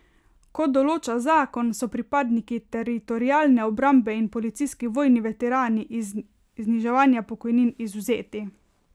Kot določa zakon, so pripadniki Teritorialne obrambe in policijski vojni veterani iz zniževanja pokojnin izvzeti.